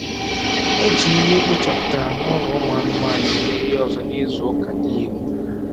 Eji ihe ekpochapụtara nụlọ ụmụ anụmanụ eme ihe ọzọ nizu ụka niile